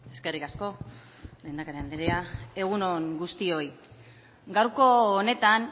eskerrik asko lehendakari andrea egun on guztioi gaurko honetan